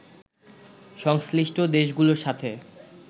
সংশ্লিষ্ট দেশগুলোর সাথে